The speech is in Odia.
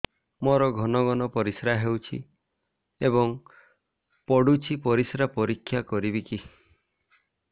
ମୋର ଘନ ଘନ ପରିସ୍ରା ହେଉଛି ଏବଂ ପଡ଼ୁଛି ପରିସ୍ରା ପରୀକ୍ଷା କରିବିକି